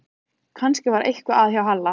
Kannski var eitthvað að hjá Halla